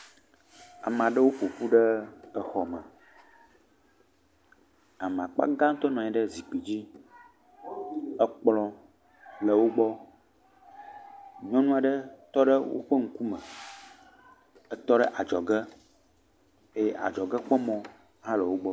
Amaa ɖewo ƒo ƒu ɖe exɔme. Ame akpa gãtɔ nɔ anyi ɖe zikpidzi. Ekplɔ̃ le wogbɔ. Nyɔnu aɖe tɔ ɖe woƒe ŋkume. Etɔ ɖe adzɔge eye adzɔgekpɔmɔ̃ hã le wogbɔ.